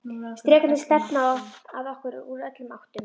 Drekarnir stefna að okkur úr öllum áttum.